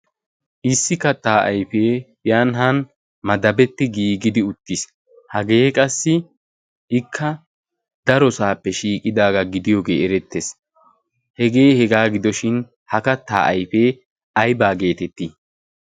issi kattaa aifee yaanihan madabetti giigidi uttiis. hagee qassi ikka darosaappe shiiqidaagaa gidiyoogee erettees. hegee hegaa gidoshin ha kattaa aifee aibaa geetettii?